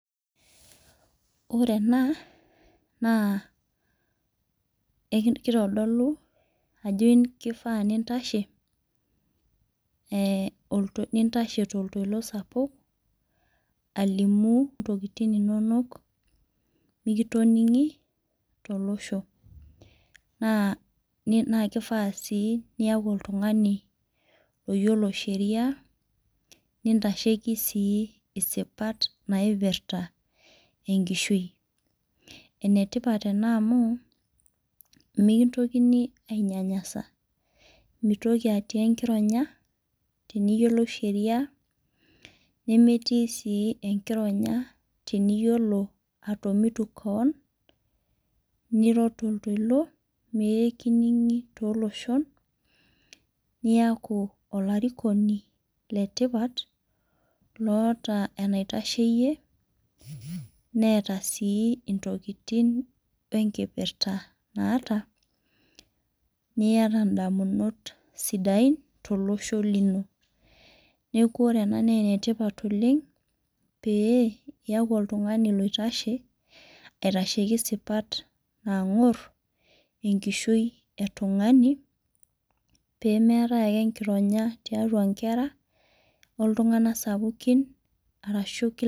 Ore ena naa kitodolu ajo keifaa nintashe toltoilo sapuk alim intokitin inonok mikitoning'i to losho. Naa kifaa sii niyaku oltung'ani oyiolo sheria nintashekii sii isipat naipirta enkishui. Enetipat ena amu mikintokini ai nyanyasa mitoki atii enkironya teniyiolou sheria nemeeti sii enkironya teniyiolo atomitu keon niro toltoilo pee kining'i too iloshon niaku olarikoni le tipat lotaa enaita sheyie neeta sii intokitin enkipirta naata. Niyata idamunot sidain to losho lino. Neeku ore ena naa enetipat oleng' pee iyaku oltung'ani loitashe aitasheki isipat nang'or enkishui oltung'ani pee meetae ake enkironya tiatua inkera oltungana sapukin arashu inkera.